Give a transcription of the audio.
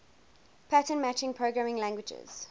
pattern matching programming languages